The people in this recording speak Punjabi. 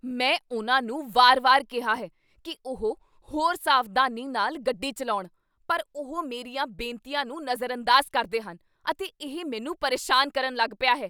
ਮੈਂ ਉਨ੍ਹਾਂ ਨੂੰ ਵਾਰ ਵਾਰ ਕਿਹਾ ਹੈ ਕੀ ਉਹ ਹੋਰ ਸਾਵਧਾਨੀ ਨਾਲ ਗੱਡੀ ਚੱਲਾਉਣ, ਪਰ ਉਹ ਮੇਰੀਆਂ ਬੇਨਤੀਆਂ ਨੂੰ ਨਜ਼ਰਅੰਦਾਜ਼ ਕਰਦੇ ਹਨ, ਅਤੇ ਇਹ ਮੈਨੂੰ ਪਰੇਸ਼ਾਨ ਕਰਨ ਲੱਗ ਪਿਆ ਹੈ